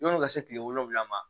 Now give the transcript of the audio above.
Yan'o ka se tile wolonwula ma